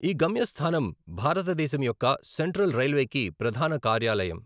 ఈ గమ్యస్థానం భారతదేశం యొక్క సెంట్రల్ రైల్వేకి ప్రధాన కార్యాలయం.